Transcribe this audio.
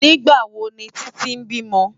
Nigbá wó ni Titi bímò?